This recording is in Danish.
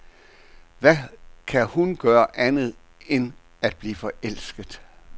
Hvad kan hun gøre andet end at blive forelsket.